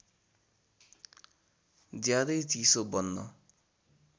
ज्यादै चिसो बन्न